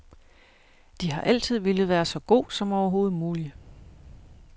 De har altid villet være så god som overhovedet mulig.